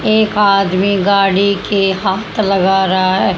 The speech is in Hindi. एक आदमी गाड़ी के हाथ लगा रहा--